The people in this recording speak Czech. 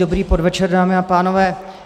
Dobrý podvečer, dámy a pánové.